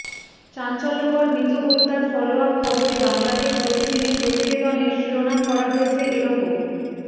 চাঞ্চল্যকর মিতু হত্যার ফলোআপ খবরে বাংলাদেশ প্রতিদিনের প্রতিবেদনের শিরোনাম করা হয়েছে এরকম